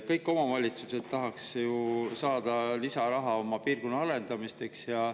Kõik omavalitsused tahaks ju saada lisaraha oma piirkonna arendamiseks.